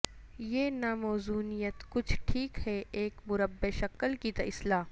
یہ ناموزونیت کچھ ٹھیک ہے ایک مربع شکل کی اصلاح